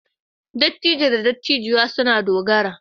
Dattijo da dattijuwar sun na dogara.